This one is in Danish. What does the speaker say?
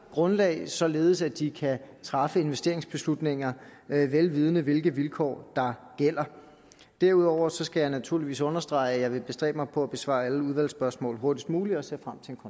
grundlag således at de kan træffe investeringsbeslutninger vel vidende hvilke vilkår der gælder derudover skal jeg naturligvis understrege at jeg vil bestræbe mig på at besvare alle udvalgsspørgsmål hurtigst muligt og ser